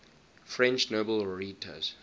french nobel laureates